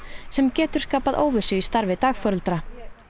sem getur skapað óvissu í starfi dagforeldra